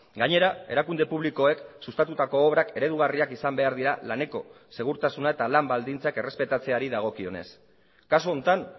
gainera erakunde publikoek sustatutako obrak eredugarriak izan behar dira laneko segurtasuna eta lan baldintzak errespetatzeari dagokionez kasu honetan